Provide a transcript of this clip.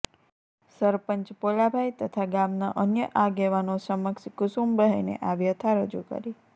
સરપંચ પોલાભાઈ તથા ગામના અન્ય આગેવાનો સમક્ષ કુસુમબહેને આ વ્યથા રજૂ કરી